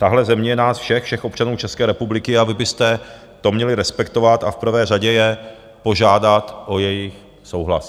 Tahle země je nás všech, všech občanů České republiky, a vy byste to měli respektovat a v prvé řadě je požádat o jejich souhlas.